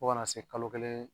Fo kana se kalo kelen.